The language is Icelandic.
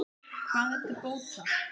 Hvað er til bóta?